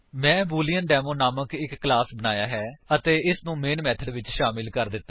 ਮੈਂ ਬੂਲੇਅੰਡੇਮੋ ਨਾਮਕ ਇੱਕ ਕਲਾਸ ਬਣਾਇਆ ਹੈ ਅਤੇ ਇਸਨੂੰ ਮੇਨ ਮੇਥਡ ਵਿੱਚ ਸ਼ਾਮਿਲ ਕਰ ਦਿੱਤਾ ਹੈ